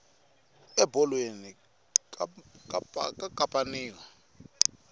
ebolweni ka kapaniwa